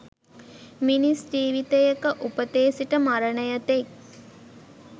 මිනිස් ජීවිතයක උපතේ සිට මරණය තෙක්